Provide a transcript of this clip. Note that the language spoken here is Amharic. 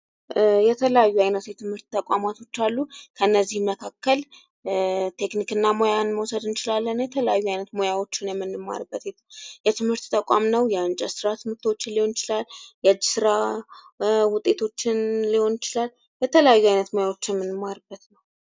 የተለያዩ አይነት የትምህርት ተቋማቶች አሉ። ከእነዚህም መካከል ቴክኒክና ሙያን መዉሰድ እንችላለን። የተለያዩ አይነት ሞያዎችን የምንማርበት የትምህርት ተቋም ነዉ። የእንጨት ስራ ትምህርቶችን ሊሆን ይችላል። የእጅ ስራ ዉጤቶችን ሊሆን ይችላል። የተለያየ አይነት ሙያዎችን የምንማርበት ነዉ።